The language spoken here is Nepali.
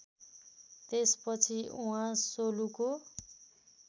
त्यसपछि उहाँ सोलुको